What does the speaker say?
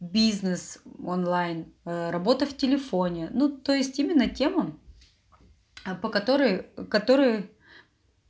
бизнес онлайн работа в телефоне ну то есть именно тема по которой которой